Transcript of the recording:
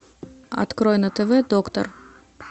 открой на тв доктор